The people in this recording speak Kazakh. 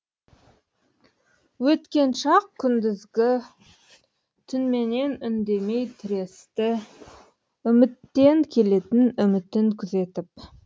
өткен шақ күндізгі түнменен үндемей тіресті үміттен келетін үмітін күзетіп